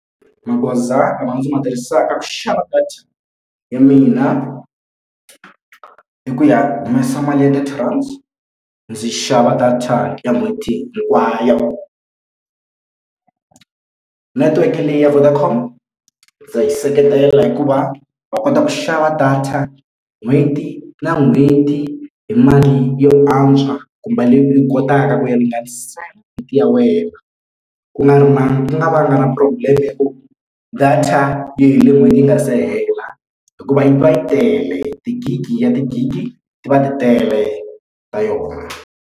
Magoza lama ndzi ma tirhisaka ku xava data ya mina i ku ya humesa mali ya thirty rand ndzi xava data ya n'hweti hinkwayo. Netiweke leyi ya Vodacom ndza yi seketela hikuva wa kota ku xava data n'hweti na n'hweti hi mali yo antswa kumbe leyi u yi kotaka ku ya ringanisa ya wena ku nga ri na ni nga va na problem ya ku data yi hele n'hweti yi nga se hela hikuva yi va yi tele ti-gig ya ti-gig ti va ti tele ka yona.